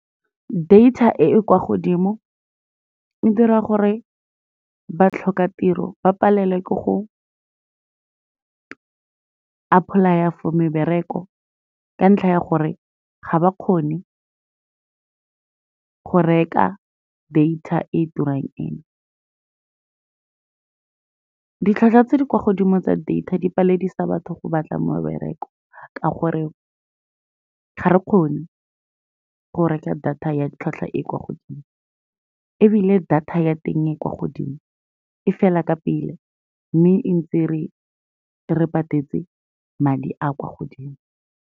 Data e e kwa godimo e dira gore batlhokatiro ba palelwe ke go apply-a for mebereko ka ntlha ya gore ga ba kgone go reka data e turang eno. Ditlhwatlhwa tse di kwa godimo tsa data di paledisa batho go batla mebereko, ka gore ga re kgone go reka data ya tlhwatlhwa e kwa godimo, ebile data ya teng e kwa godimo e fela ka pele, mme e ntse re patetse madi a kwa godimo.